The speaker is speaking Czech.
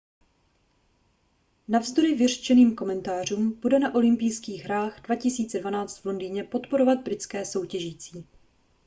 navzdory vyřčeným komentářům bude na olympijských hrách 2012 v londýně podporovat britské soutěžící